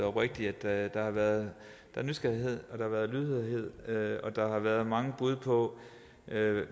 oprigtigt at der har været nysgerrighed at der har været lydhørhed og der har været mange bud på